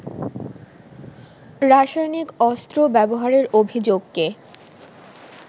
রাসায়নিক অস্ত্র ব্যাবহারের অভিযোগকে